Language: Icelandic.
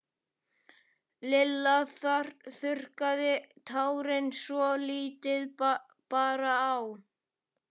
Lilla þurrkaði tárin svo lítið bar á.